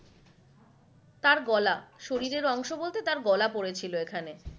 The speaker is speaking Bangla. তার গলা, শরীরের অংশ বলতে তার গলা পরেছিল এখানে।